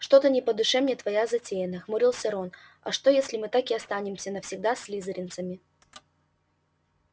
что-то не по душе мне твоя затея нахмурился рон а что если мы так и останемся навсегда слизеринцами